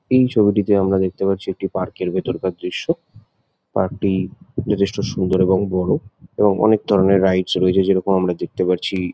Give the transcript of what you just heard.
এই ছবিটিতে আমরা দেখতে পাচ্ছি একটি পার্ক -র ভিতরকার দৃশ্য। পার্ক -টি যথেষ্ট সুন্দর এবং বড়ো। এবং অনেক ধরণের রাইডস রয়েছে যেরকম আমরা দেখতে পাচ্ছি--